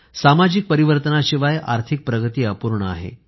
सामाजिक परिवर्तनाशिवाय आर्थिक प्रगती अपूर्ण आहे